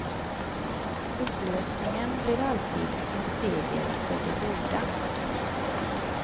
Upplösningen blir alltid en seger för det goda.